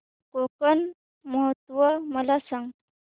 कोकण महोत्सव मला सांग